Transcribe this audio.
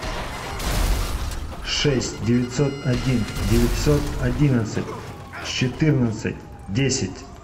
шесть девятьсот один девятьсот одинадцать четырнадцать десять